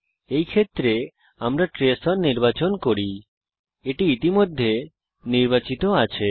এই ক্ষেত্রে আমরা ট্রেস ওন নির্বাচন করি এটি ইতিমধ্যে নির্বাচিত আছে